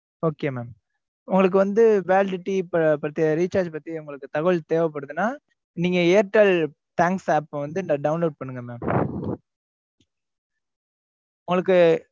okay mam உங்களுக்கு வந்து validity இப்ப பத்தி recharge பத்தி உங்களுக்கு தகவல் தேவைப்படுதுன்னா, நீங்க airtel thanks app அ வந்து download பண்ணுங்க mam உங்களுக்கு